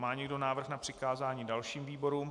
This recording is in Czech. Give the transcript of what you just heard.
Má někdo návrh na přikázání dalším výborům?